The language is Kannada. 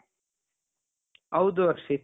ಹೌದು ಹರ್ಷಿತ್ .